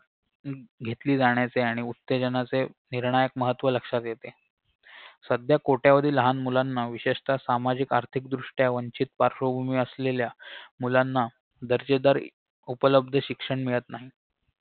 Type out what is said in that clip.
घेतली जाण्याचे आणि उत्तेजनाचे निर्णायक महत्व लक्षात येते सध्या कोट्यावधी लहान मुलांना विशेषतः सामाजिक आर्थिकदृष्ट्या वंचित पार्श्वभूमी असलेल्या मुलांना दर्जेदार उपलब्ध शिक्षण मिळत नाही